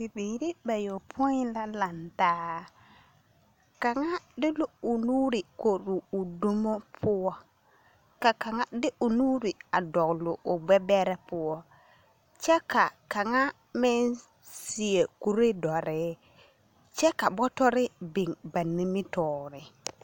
Bibiiri bayopoi la lantaa, kaŋa de la o nuuri kori o dumo poɔ, kaŋa de o nuuri a dɔgle o gbɛbɛrɛ poɔ kyɛ ka kaŋa meŋ seɛ kuree dɔre kyɛ ka bɔtɔre meŋ biŋ ba nimitɔɔre. 13386